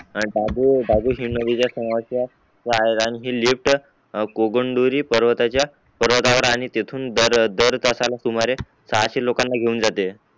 बाजू बाजू बाजूचा नदीचा समानचा आणि आणि लिफ्ट ई गोंधुरी पर्वताचा पर्वतावर आणि तेथून दर दर तासाला सुमारे सहाशे लोकांना घेवून जाते